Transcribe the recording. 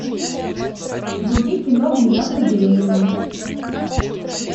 вруби кино внезапно беременна